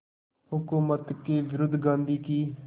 हुकूमत के विरुद्ध गांधी की